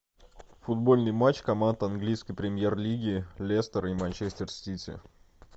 футбольный матч команд английской премьер лиги лестер и манчестер сити